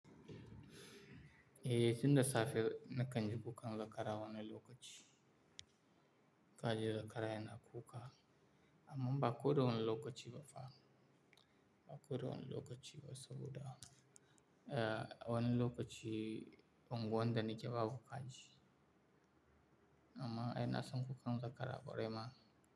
Eh, tun da safe na kan ji kukan zakara wannan lokaci. Kaji zakara yana kuka amma ba ko da wannan lokaci ba fa. Ba ko da wannan lokaci ba saboda eh wani lokaci unguwan da ni ke babu kaji. Amma ai na san kukan zakara kwarai ma.